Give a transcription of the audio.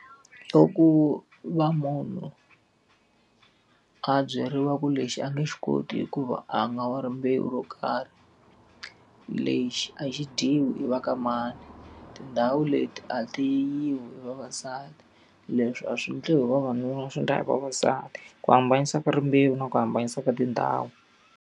Loko ku va munhu a byeriwa ku lexi a nge swi koti hikuva a nga wa rimbewu ro karhi. Lexi a xi dyiwi yi va ka mani, tindhawu leti a ti yiwi hi vavasati, leswi a swi endliwi hi vavanuna swi endla hi vavasati. Ku hambanisa rimbewu na ku hambanisa ka tindhawu.